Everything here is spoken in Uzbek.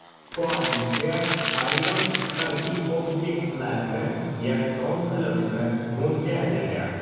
Koalitsiya ayrim harbiy obyektlarni yakson qilishni mo‘ljallagan.